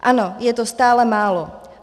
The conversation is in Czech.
Ano, je to stále málo.